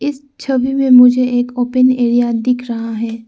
इस छवि में मुझे एक ओपन एरिया दिख रहा है।